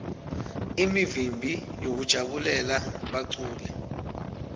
imivimbi yekujabulela baculi